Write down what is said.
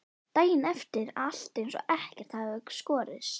Daginn eftir er alltaf eins og ekkert hafi í skorist.